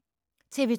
TV 2